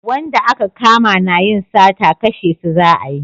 Wanda a ka kama na yin sata kashe su za a yi